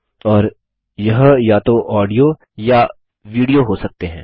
और यह या तो ऑडियो या विडियो हो सकते हैं